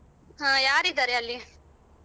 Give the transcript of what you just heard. ಹ ಯಾರಿದ್ದಾರೆ ಅಲ್ಲಿ.